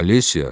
Alisiya!